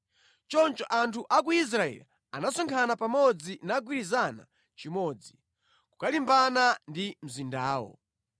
Choncho anthu a ku Israeli anasonkhana pamodzi nagwirizana chimodzi, kukalimbana ndi mzindawo.